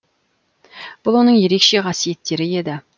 бұл оның ерекше қасиеттері еді